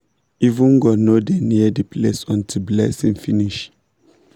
even goat no dey near the place until blessing finish